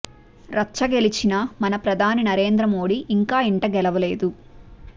రచ్చ గెలిచినా మన ప్రధాని నరేంద్ర మోదీ ఇంకా ఇంట గెలవలేదు